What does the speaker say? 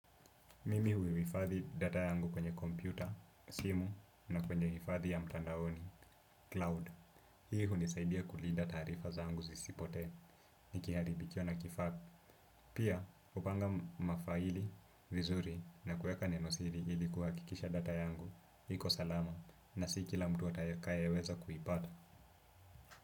Mimi hui wifadhi data yangu kwenye kompyuta, simu na kwenye hifadhi ya mtandaoni, cloud. Hii hunisaidia kulinda taarifa zangu zisipotee, nikiharibikiwa na kifaa. Pia upanga mafaili, vizuri na kuweka neno sili ilikuwa kuhakikisha data yangu iko salama, na si kila mtu atakaye weza kuipata.